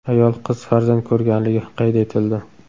Ayol qiz farzand ko‘rganligi qayd etildi.